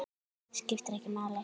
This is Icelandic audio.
Skiptir ekki máli!